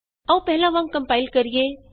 ਆਉ ਪਹਿਲਾਂ ਵਾਂਗ ਕੰਪਾਇਲ ਕਰੀਏ